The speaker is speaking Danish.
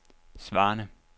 svarende